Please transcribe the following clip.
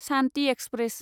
Shanti express